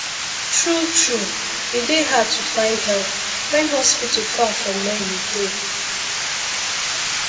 true true e dey hard to find help when hospital far from where you dey